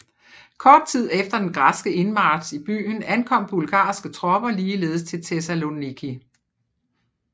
Kort tid efter den græske indmarch i byen ankom bulgarske tropper ligeledes til Thessaloniki